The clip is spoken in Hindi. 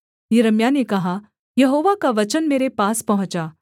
यिर्मयाह ने कहा यहोवा का वचन मेरे पास पहुँचा